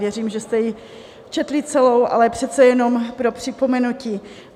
Věřím, že jste ji četli celou, ale přece jenom pro připomenutí.